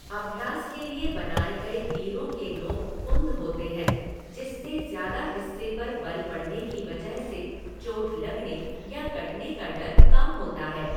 अभ्यास के लिए बनाए गए तीरों के नोक कुंद होते हैं जिससे ज़्यादा हिस्से पर बल पड़ने की वजह से चोट लगने या कटने का डर कम होता है।